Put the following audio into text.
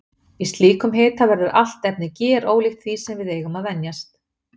Í slíkum hita verður allt efni gerólíkt því sem við eigum að venjast.